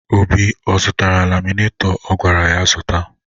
Obi ọ zụtara laminaitọ a gwara ya zụta?